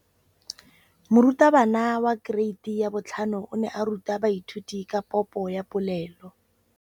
Moratabana wa kereiti ya 5 o ne a ruta baithuti ka popô ya polelô.